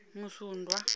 musundwa